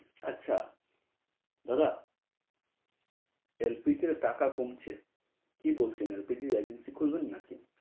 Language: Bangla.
আচ্ছা। দাদা, LPG এর টাকা কমছে। কী বলছেন LPG এর agency খুলবেন নাকি?